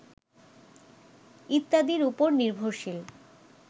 ইত্যাদির উপর নির্ভরশীল